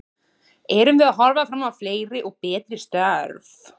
Erum við að horfa fram á fleiri og betri störf?